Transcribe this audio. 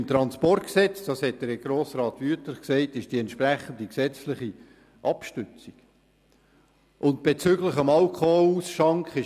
Im Transportgesetz ist die entsprechende gesetzliche Abstützung, das sagte Grossrat Wüthrich bereits.